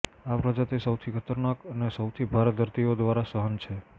આ પ્રજાતિ સૌથી ખતરનાક અને સૌથી ભારે દર્દીઓ દ્વારા સહન છે